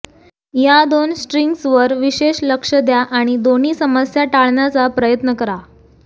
या दोन स्ट्रिंग्सवर विशेष लक्ष द्या आणि दोन्ही समस्या टाळण्याचा प्रयत्न करा